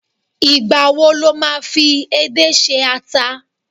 igba wo lo ma fi edé se ata